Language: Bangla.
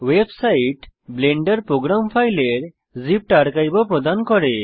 ওয়েবসাইট ব্লেন্ডার প্রোগ্রাম ফাইলের জিপড আর্কাইভ ও প্রদান করে